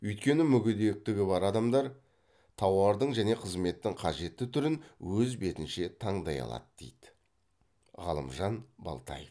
өйткені мүгедектігі бар адамдар тауардың және қызметтің қажетті түрін өз бетінше таңдай алады дейді ғалымжан балтаев